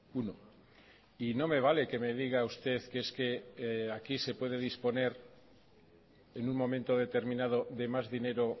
uno y no me vale que me diga usted que es que aquí se puede disponer en un momento determinado de más dinero